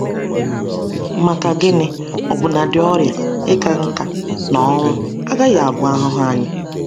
Maka gịnị, ọbụnadi ọrịa, ịka nka, na ọnwụ agaghị abụ ahụhụ anyị!